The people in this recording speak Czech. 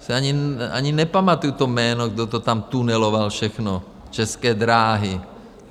si ani nepamatuji to jméno, kdo to tam tuneloval všechno, České dráhy.